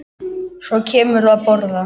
Og svo kemurðu að borða!